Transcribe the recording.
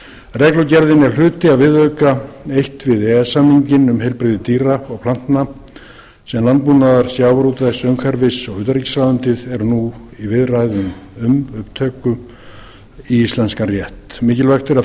reglugerðin er hluti af viðauka eins við e e s samninginn um heilbrigði dýra og plantna sem landbúnaðar sjávarútvegs umhverfis og utanríkisráðuneytið eru nú í viðræðum um upptöku í íslenskan rétt mikilvægt er að frumvarpið verði